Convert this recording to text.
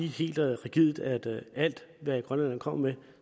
helt rigidt sige at alt hvad grønlænderne kommer med